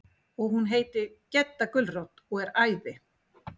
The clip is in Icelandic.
Og hún heitir Gedda gulrót og er æði.